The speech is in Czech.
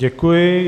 Děkuji.